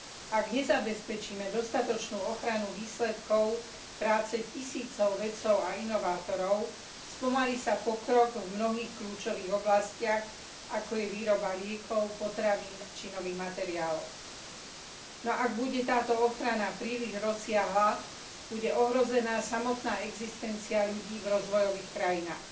Ak nezabezpečíme dostatočnú ochranu výsledkov práce tisícov vedcov a inovátorov, spomalí sa pokrok v mnohých kľúčových oblastiach, ako je výroba liekov, potravín či nových materiálov. No ak bude táto ochrana príliš rozsiahla, bude ohrozená samotná existencia ľudí v rozvojových krajinách.